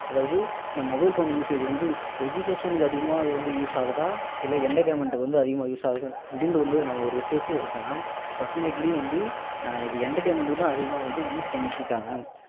அதாவது இந்த mobile phone usage வந்து education க்கு அதிகமா use ஆகுதா இல்ல entertainment க்கு வந்து அதிகமா use ஆகுது அப்படின்னு வந்து நம்ம ஒரு research சே எடுத்தோம்னா definitely வந்து இது entertainment கு தான் அதிகமா வந்து use பண்ணிட்டு இருக்காங்க